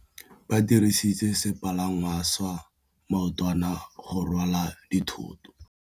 Ba dirisitse sepalangwasa maotwana go rwala dithôtô.